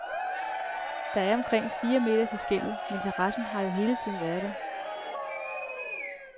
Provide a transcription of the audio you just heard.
Der er omkring fire meter til skellet, men terrassen har jo hele tiden været der.